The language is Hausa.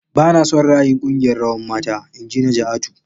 Bana son ra'ayin kungiyar rawan mata.. Inji Najaatu.